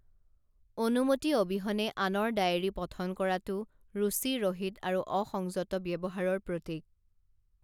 অনুমতি অবিহনে আনৰ ডায়েৰী পঠন কৰাটো ৰুচি ৰহিত আৰু অসংযত ব্যৱহাৰৰ প্ৰতিক